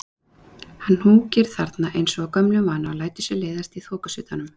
Hann húkir þarna eins og af gömlum vana, og lætur sér leiðast í þokusuddanum.